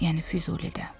Yəni Füzulidə.